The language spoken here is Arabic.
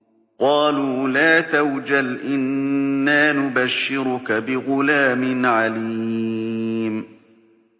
قَالُوا لَا تَوْجَلْ إِنَّا نُبَشِّرُكَ بِغُلَامٍ عَلِيمٍ